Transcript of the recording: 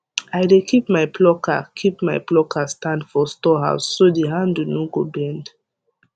i dey keep my plucker keep my plucker stand for storehouse so the handle no go bend